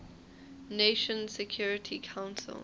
nations security council